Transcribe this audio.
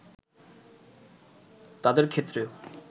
তাদের ক্ষেত্রেও